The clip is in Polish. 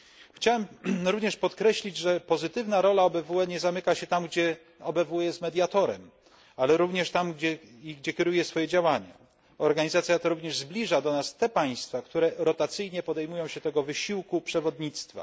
Chciałem również podkreślić, że pozytywna rola OBWE nie zamyka się tam, gdzie OBWE jest mediatorem, ale również tam, gdzie kieruje swoje działania. Organizacja ta również zbliża do nas te państwa, które rotacyjnie podejmują się wysiłku przewodnictwa.